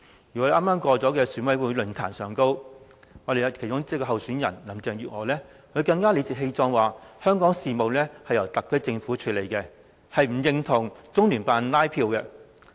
而在剛剛過去的選委論壇上，其中一位候選人林鄭月娥更理直氣壯地說，香港事務是由特區政府處理，不認同中聯辦拉票。